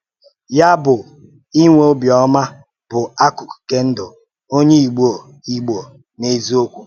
Ya bụ, ínwé obiọ́mà bụ́ akụkụ̀ nke ndụ onye Ìgbò Ìgbò n’eziokwu